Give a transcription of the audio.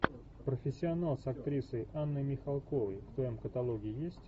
профессионал с актрисой анной михалковой в твоем каталоге есть